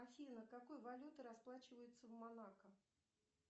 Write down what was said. афина какой валютой расплачиваются в монако